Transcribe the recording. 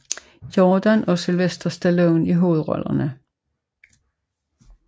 Jordan og Sylvester Stallone i hovedrollerne